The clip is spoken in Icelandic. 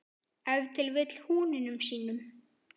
Ef til vill húninum sínum?